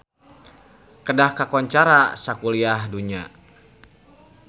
Kedah kakoncara sakuliah dunya